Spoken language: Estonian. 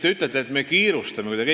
Te ütlesite, et me kiirustame kuidagi.